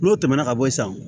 N'o tɛmɛna ka bɔ yen sisan